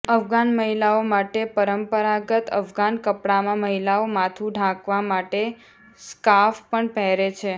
અફઘાન મહિલાઓ માટે પરંપરાગત અફઘાન કપડામાં મહિલાઓ માથું ઢાંકવા માટે સ્કાર્ફ પણ પહેરે છે